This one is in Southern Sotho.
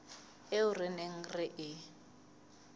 eo re neng re e